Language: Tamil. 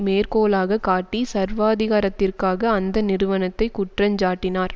மேற்கோளாக காட்டி சர்வாதிகாரத்திற்காக அந்த நிறுவனத்தைக் குற்றஞ்சாட்டினார்